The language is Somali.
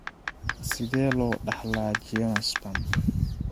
Sidee loo dhaxlaa geniospasm?